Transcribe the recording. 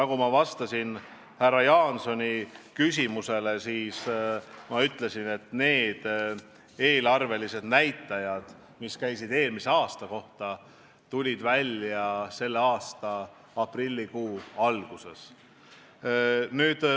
Kui ma vastasin härra Jaansoni küsimusele, siis ma ütlesin, et eelarvelised näitajad, mis käisid eelmise aasta kohta, tulid välja selle aasta aprillikuu alguses.